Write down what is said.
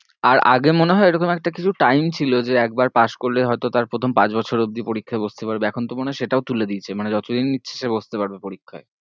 আর আগে মনে হয়ে এরকম একটা কিছু time ছিল যে একবার পাশ করলে হয়তো তার প্রথম পাঁচ বছর অবধি পরীক্ষায় বসতে পারবে এখন তো মনে হয়ে সেটাও তুলে দিয়েছে মানে যতদিন ইচ্ছে সে বসতে পারবে পরীক্ষায়